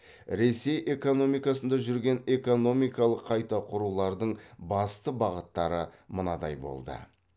ресей экономикасында жүрген экономикалық қайта құрулардың басты бағыттары мынадай болды